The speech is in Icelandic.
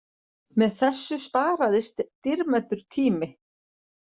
Með þessu sparaðist dýrmætur tími